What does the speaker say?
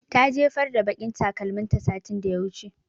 Ta jefar da baƙin takalmin ta satin da ya wuce